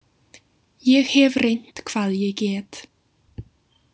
Ég hef reynt hvað ég get.